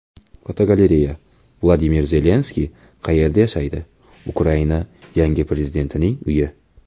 Fotogalereya: Vladimir Zelenskiy qayerda yashaydi Ukraina yangi prezidentining uyi.